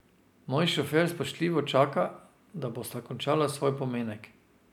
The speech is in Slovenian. Moj šofer spoštljivo čaka, da bosta končala svoj pomenek.